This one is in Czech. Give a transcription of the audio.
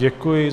Děkuji.